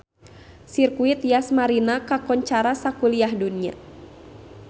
Sirkuit Yas Marina kakoncara sakuliah dunya